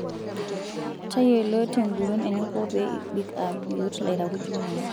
Tayiolo tenguton eninko pee ibik aa biot lairakuj linono.